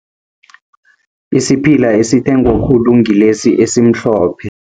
Isiphila esithengwa khulu ngilesi esimhlophe.